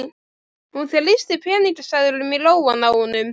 Svenni hlær að hugmyndafluginu í honum.